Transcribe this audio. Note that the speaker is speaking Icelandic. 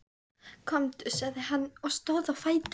Komdu, sagði hann og stóð á fætur.